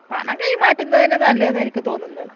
പണം കൈമാറ്റുന്നെ തന്നെ നല്ലത് എന്ന എനിക്ക് തോന്നുന്നേ